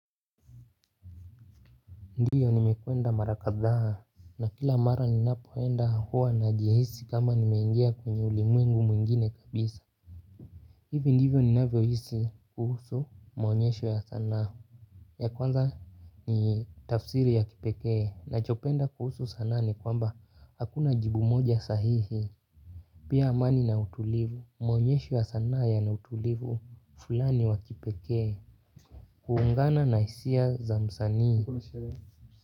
Ndiyo nimekwenda mara kadhaa na kila mara ninapoenda huwa najihisi kama nime ingia kwenye ulimwengu mwingine kabisa hivi ndivyo ninavyo hisi kuhusu maonyesho ya sanaa ya kwanza ni tafsiri ya kipekee nachopenda kuhusu sanaa ni kwamba hakuna jibu moja sahihi pia amani na utulivu maonyesho ya sanaa yana utulivu fulani wa kipekee kuungana na hisia za msanii.